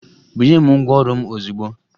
Bunye m ngwaọrụ m ozugbo!